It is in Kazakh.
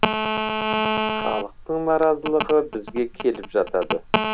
халықтың наразылығы бізге келіп жатады